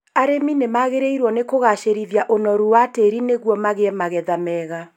Arĩmi nĩmagĩrĩirwo nĩ kũgacĩrithia ũnoru wa tĩri nĩguo magĩe magetha mega